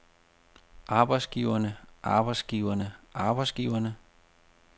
arbejdsgiverne arbejdsgiverne arbejdsgiverne